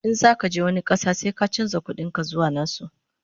in zaka je wani ƙasa sai ka chanza ƙuɗin ka zuwa nasu